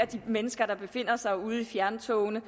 de mennesker der befinder sig ude i fjerntogene